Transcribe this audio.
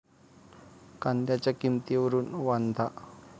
कांद्याच्या किंमतीवरून 'वांधा'!